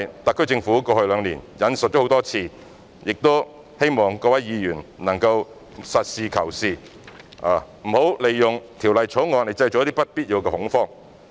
特區政府在過去兩年引述了這宗案例很多次，我希望各位議員能夠實事求是，不應利用《條例草案》製造不必要的恐慌。